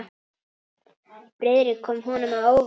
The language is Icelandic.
Friðrik kom honum á óvart.